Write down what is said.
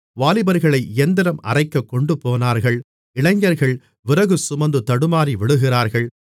வாலிபர்களை இயந்திரம் அரைக்கக் கொண்டுபோனார்கள் இளைஞர்கள் விறகு சுமந்து தடுமாறி விழுகிறார்கள்